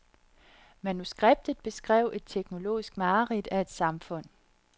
Manuskriptet beskrev et teknologisk mareridt af et samfund.